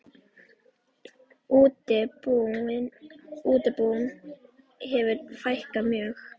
Útibúum hefur fækkað mjög.